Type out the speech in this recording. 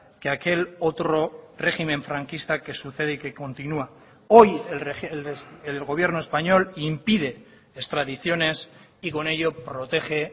que aquel otro régimen franquista que sucede y que continúa hoy el gobierno español impide extradiciones y con ello protege